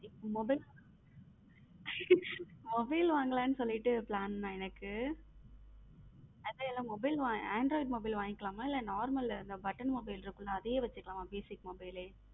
Mobile mobile வாங்கலாம்னு plan நான் என்னக்கு. அது mobile android mobile வங்கிகாலமா இல்ல normal ல button mobile இருக்கும்ல அதே வைசுகலம்மா basic mobile லே.